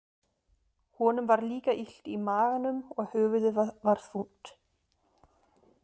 Honum var líka illt í maganum og höfuðið var þungt.